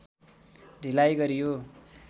ढिलाइ गरियो